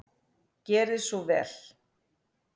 Gerið svo vel!